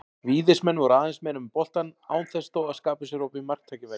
Víðismenn voru aðeins meira með boltann án þess þó að skapa sér opin marktækifæri.